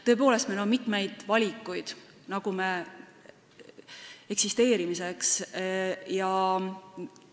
Tõepoolest, meil on eksisteerimiseks mitmeid valikuid.